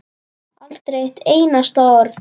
Aldrei eitt einasta orð.